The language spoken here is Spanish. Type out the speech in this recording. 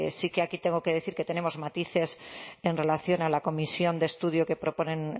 sí que tengo que decir que tenemos matices en relación a la comisión de estudio que proponen